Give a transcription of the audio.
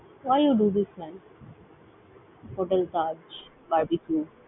Why you do this man? । Hotel Taj, Barbeque ।